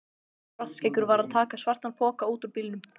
Svartskeggur var að taka svartan poka út úr bílnum.